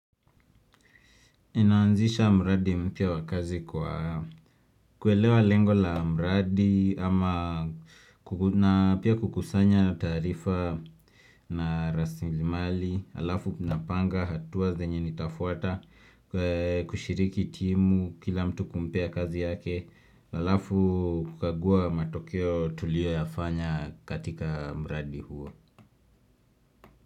Ninaanzisha mradi mpya wa kazi kwa kuelewa lengo la mradi ama na pia kukusanya tarifa na rasilimali, alafu ninapanga hatua zenye nitafuata kushiriki timu kila mtu kumpea kazi yake, alafu kukagua matokeo tuliyo yafanya katika mradi huo.